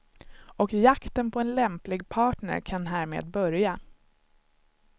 Och jakten på en lämplig partner kan härmed börja.